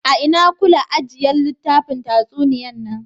A'ina kula ajiyan littafin tatsuniya nan?